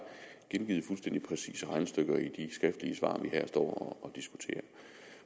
gengivet fuldstændig præcise regnestykker i skriftlige svar vi her står